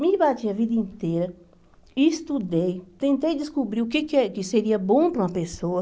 Me bati a vida inteira, estudei, tentei descobrir o que que que seria bom para uma pessoa.